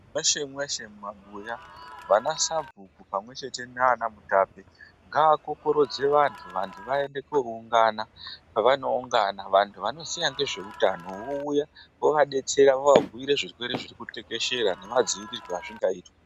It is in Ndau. Mweshe mweshe mumabuyavana sabhuku pamwe chete nana mutape ngavakorokodze vantu vaende kunoungana pava noungana vantu vanoziya nezveutano vouya vovadetsera vovabhuyira zvirwere zviri kutekeshera nemadzivirirwe azvingaita.